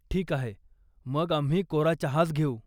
ठीक आहे, मग आम्ही कोरा चहाच घेऊ.